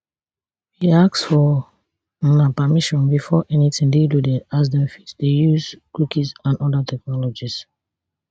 we ask for una permission before anytin dey loaded as dem fit dey use cookies and oda technologies